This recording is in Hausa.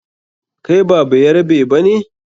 Kai ba bayarabe ba ne?